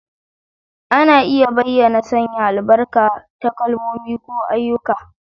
Ana iya bayyana sanya albarka ta kalmomi ko ayyuka.